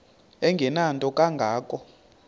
engenanto kanga ko